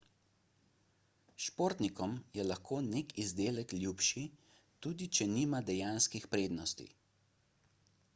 športnikom je lahko nek izdelek ljubši tudi če nima dejanskih prednosti